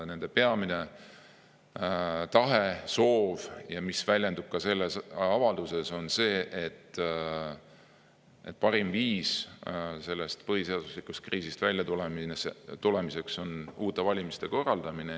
Nende peamine tahe,, mis väljendub ka selles avalduses, on see, et parim viis sellest põhiseaduslikkuse kriisist väljatulemiseks on uute valimiste korraldamine.